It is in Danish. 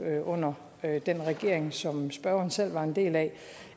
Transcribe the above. under den regering som spørgeren selv var en del af